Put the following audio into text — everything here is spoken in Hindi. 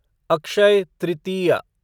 अक्षय तृतीय